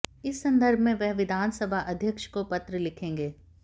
इस संदर्भ में वह विधानसभा अध्यक्ष को पत्र लिखेंगे